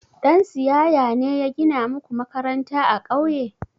Ɗan siyaya ne ya gina muku makaranta a ƙauye?